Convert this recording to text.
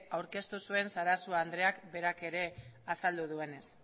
aurkeztu zuen sarasua andreak berak ere azaldu duenez